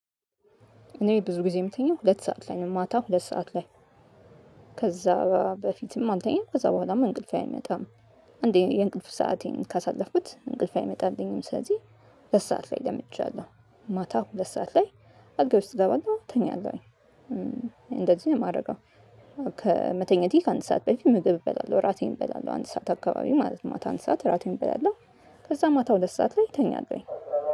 እኔ ብዙ ጊዜ የምተኛው ሁለት ሰዓት ላይ ነው ማታ ሁለት ሰዓት ላይ። ከዛ በፊትም አልተኛም ከዛ በኋላም እንቅልፌ አይመጣም። አንዴ የእንቅልፍ ሰአቴን ካሳለፍኩት እንቅልፍ አይመጣልኝም ስለዚህ። ሁለት ሰዓት ላይ ለምጃለሁ ማታ ሁለት ሰዓት ላይ አልጋዬ ውስጥ እገባለሁ እተኛለሁኝ እንደዚህ ነው የማደርገው። ከመተኛቴ ከአንድ ሰዓት በፊት ምግብ እበላለሁ እራቴን እበላለሁ አንድ ሰዓት አካባቢ ማለት ማታ ሰዓት ራቴን እበላለሁ። ከዛ ማታ ሁለት ሰዓት ላይ እተኛለሁኝ